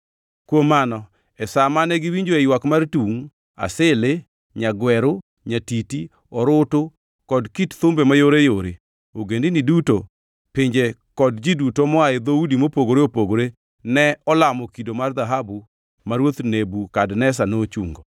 Kuom mano e sa mane giwinjoe ywak mar tungʼ, asili, nyagweru, nyatiti, orutu kod kit thumbe mayoreyore, ogendini duto, pinje kod ji duto moa e dhoudi mopogore opogore ne olamo kido mar dhahabu ma ruoth Nebukadneza nochungo.